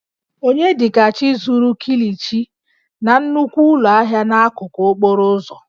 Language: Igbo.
Onyedikachi zuru kilichi na nnukwu ụlọ ahịa n'akụkụ okporo ụzọ